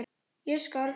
Ég skal!